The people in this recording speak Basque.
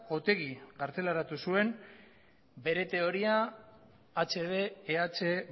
otegi kartzelaratu zuen bere teoria hb eh